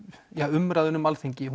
umræðan um Alþingi